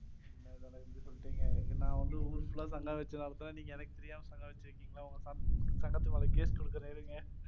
என்ன தல இப்படி சொல்லிட்டீங்க? நான் வந்து ஊர் full லா சங்கம் வெச்சு நடத்தறேன். நீங்க எனக்கு தெரியாம சங்கம் வெச்சிருக்கீங்க. உங்க சங்கத்து மேல கேஸ் குடுக்கறேன், இருங்க.